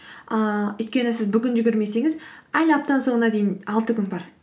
ыыы өйткені сіз бүгін жүгірмесеңіз әлі аптаның соңына дейін алты күн бар